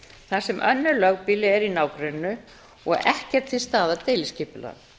þar sem önnur lögbýli eru í nágrenninu og ekki er til staðar deiliskipulag